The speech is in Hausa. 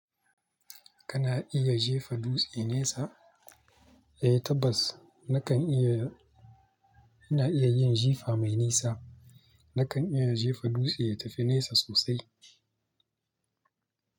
Kana iya jefa dutse nesa? Eh tabbas na kan iya. Ina iya yin jifa mai nisa. Na kan iya jefa dutse ya tafi nesa sosai.